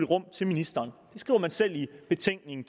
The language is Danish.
rum til ministeren det skriver man selv i betænkningen